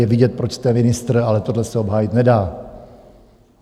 Je vidět, proč jste ministr, ale tohle se obhájit nedá.